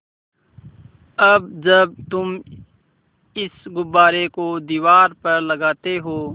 अब जब तुम इस गुब्बारे को दीवार पर लगाते हो